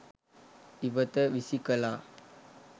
ඉවත විසි කළා.